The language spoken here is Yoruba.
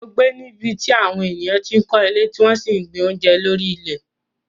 mò ń gbé ní ibi tí àwọn ènìyàn ti ń kọ́ ilé tí wọ́n sì ń gbin oúnjẹ lórí ilẹ̀